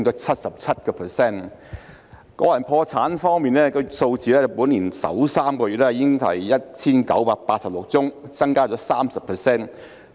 關於個人破產方面的數字，本年首3個月已是 1,986 宗，增加 30%。